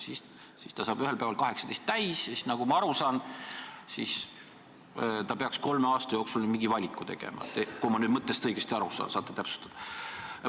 Ja siis saab see laps ühel päeval 18 aastat täis ja nagu ma aru saan, peaks ta nüüd kolme aasta jooksul mingi valiku tegema – kui ma nüüd mõttest õigesti aru saan, eks te saate täpsustada.